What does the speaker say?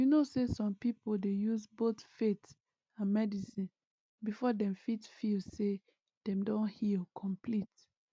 you know say some people dey use both faith and medicine before dem fit feel say dem don heal complete